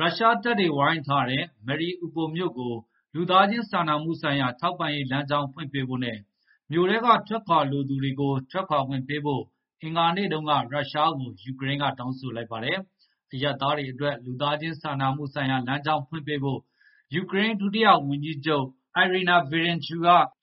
ရုရှားတပ်တွေ ဝိုင်းထားတဲ့ Mariupol မြို့ကို လူသားခြင်း စာနာမှု ဆိုင်ရာ ထောက်ပံ့ရေး လမ်းကြောင်း ဖွင့်ပေးဖို့နဲ့ မြို့ထဲက ထွက်ခွာ လိုသူတွေကို ထွက်ခွာခွင့် ပေးဖို့ အင်္ဂါနေ့မှာ ရုရှားကို ယူကရိန်းက တောင်းဆိုလိုက်ပါတယ်။ အရပ်သားတွေ အတွက် လူသားချင်း စာနာမှု လမ်းကြောင်းဖွင့် ပေးဖို့ ယူကရိန်း ဒုတိယ ဝန်ကြီးချုပ် Iryna Vereshchu